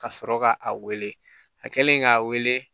Ka sɔrɔ ka a wele a kɛlen k'a wele